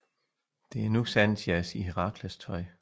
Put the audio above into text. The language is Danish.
Det er nu Xanthias i Herakles tøj